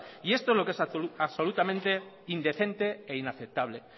y esto es lo que es absolutamente indecente e inaceptable